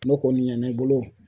N'o kɔni ɲɛna i bolo